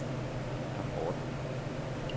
rapporten